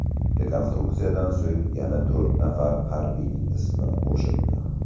Rekonstruksiyadan so‘ng yana to‘rt nafar harbiyning ismi qo‘shildi.